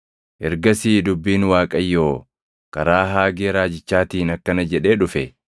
Ergasii dubbiin Waaqayyoo karaa Haagee Raajichaatiin akkana jedhee dhufe: